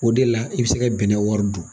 O de la i bɛ se ka bɛnɛ wɔri dun.